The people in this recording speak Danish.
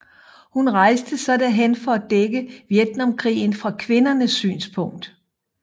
Hun rejste så derhen for at dække Vietnamkrigen fra kvindernes synspunkt